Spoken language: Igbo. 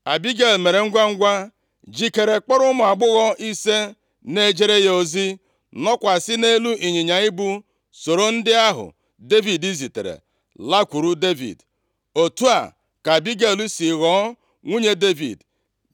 Abigel mere ngwangwa jikere, kpọrọ ụmụ agbọghọ ise na-ejere ya ozi, nọkwasị nʼelu ịnyịnya ibu, soro ndị ahụ Devid zitere lakwuru Devid. Otu a ka Abigel sị ghọọ nwunye Devid.